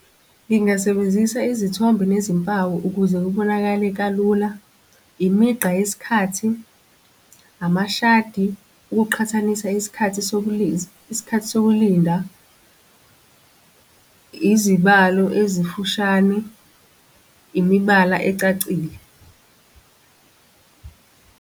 Ngingasebenzisa izithombe nezimpawu ukuze kubonakale kalula. Imigqa yesikhathi, amashadi ukuqhathanisa isikhathi sokuliza, isikhathi sokulinda, izibalo ezifushane, imibala ecacile.